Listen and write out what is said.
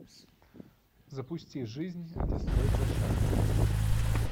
запусти жизнь это стройплощадка